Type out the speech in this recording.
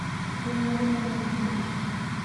Gwen mage manoom nyocha